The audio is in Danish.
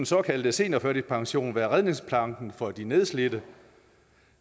såkaldte seniorførtidspension være redningsplanken for de nedslidte